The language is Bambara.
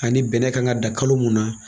Ani bɛnɛ kan ka dan kalo mun na